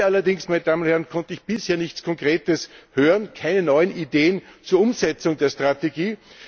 Heute allerdings konnte ich bisher nichts Konkretes hören, keine neuen Ideen zur Umsetzung der Strategie.